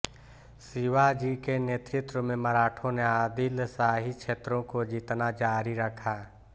शिवाजी के नेतृत्व में मराठों ने आदिलशाही क्षेत्रों को जीतना जारी रखा